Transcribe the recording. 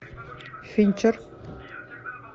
финчер